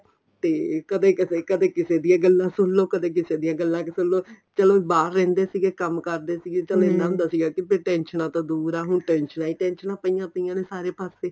ਤੇ ਕਦੇ ਕਦੇ ਕਿਸੇ ਦੀਆਂ ਗੱਲਾ ਸੁਣ ਲੋ ਕਦੇ ਕਿਸੇ ਦੀਆਂ ਗੱਲਾ ਸੁਣ ਲੋ ਚਲੋ ਬਾਹਰ ਰਹਿੰਦੇ ਸੀਗੇ ਕੰਮ ਕਰਦੇ ਸੀਗੇ ਇੰਨਾ ਹੁੰਦਾ ਸੀਗਾ ਕੀ ਫੇਰ ਟੈਨਸ਼ਨਾ ਤੋਂ ਦੂਰ ਆ ਹੁਣ ਟੈਨਸ਼ਨਾ ਈ ਟੈਨਸ਼ਨਾ ਪਇਆ ਪਇਆ ਨੇ ਸਾਰੇ ਪਾਸੇ